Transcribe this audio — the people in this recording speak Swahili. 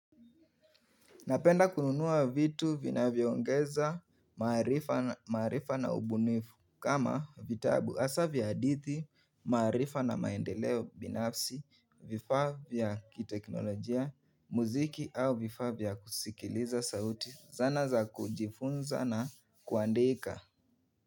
Napenda kununua vitu vinavyongeza maarifa na ubunifu kama vitabu hasa vya hadithi maarifa na maendeleo binafsi vifaa vya kiteknolojia muziki au vifaa vya kusikiliza sauti zana za kujifunza na kuandika.